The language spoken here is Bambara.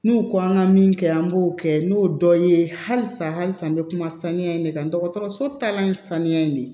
N'u ko an ka min kɛ an b'o kɛ n'o dɔ ye halisa halisa n bɛ kuma saniya in de kan dɔgɔtɔrɔso taalan ye saniya in de ye